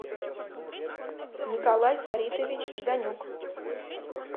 николай фаритович жданюк